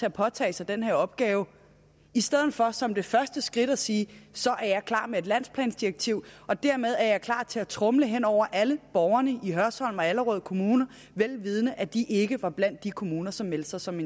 at påtage sig den her opgave i stedet for som det første skridt at sige så er jeg klar med et landsplandirektiv og dermed er jeg klar til at tromle hen over alle borgere i hørsholm og allerød kommuner vel vidende at de ikke var blandt de kommuner som meldte sig som